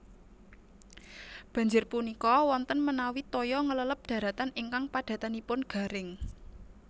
Banjir punika wonten menawi toya ngleleb daratan ingkang padatanipun garing